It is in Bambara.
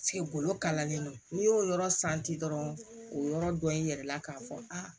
golo kalanlen don n'i y'o yɔrɔ dɔrɔn o yɔrɔ dɔ i yɛrɛ la k'a fɔ aa